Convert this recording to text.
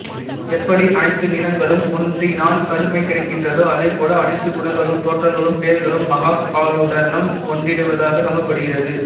எப்படி அனைத்து நிறங்களும் ஒன்றினால் கருமை கிடைக்கின்றதோ அதே போல் அனைத்து குணங்களும் தோற்றங்களும் பெயர்களும் மகாகாலனுடன் ஒன்றிவிடுவதாக நம்பப்படுகிறது